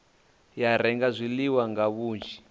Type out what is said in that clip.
ya renga zwiḽiwa nga vhunzhi